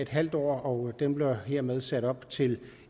halv år og den bliver hermed sat op til